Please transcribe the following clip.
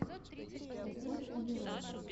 поставь амирана